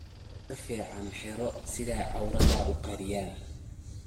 Dar ficn xiro sifaa auwradha ukariyan.